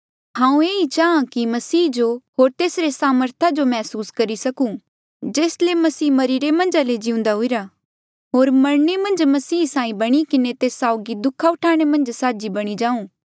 हांऊँ ये ही चांहा कि मसीह जो होर तेस्सा सामर्था जो मैहसूस करी सकूं जेस ले मसीह मरिरे मन्झ ले जिउंदे हुईरा होर मरणे मन्झ मसीह साहीं बणी किन्हें तेस साउगी दुःखा उठाणे मन्झ साझी बणी जाऊँ